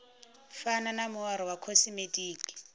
fana na muaro wa khosimetiki